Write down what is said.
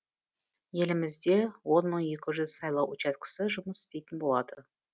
елімізде он мың екі жүз сайлау учаскесі жұмыс істейтін болады